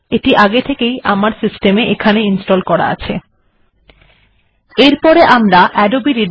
আমি আমার কমপিউটার এ আগেই এটিকে ইনস্টল করে রেখেছি